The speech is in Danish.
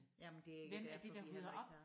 Jamen det er derfor vi heller ikke har